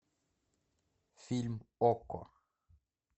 фильм окко